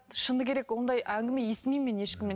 шыны керек ондай әңгіме естімеймін мен ешкімнен